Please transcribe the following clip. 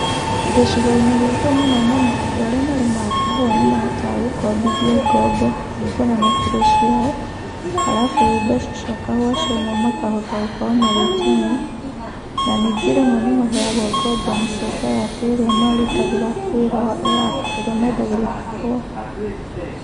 Gĩcigo-inĩ gitũ mũno mũno andũ arĩa marĩmaga kahũa nĩ mahotaga gũkombithio ngombo kũringana na kiro ciao, arabu mbeca cia kahũa ciauma makahota gũkorwo magĩtinio, na ningĩ rĩmwe nĩ maheagwo ngombo nĩ society ĩrĩa marutagĩra wĩra ya, ĩrĩa mendagĩria kahũa.